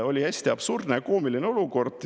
Oli hästi absurdne ja koomiline olukord.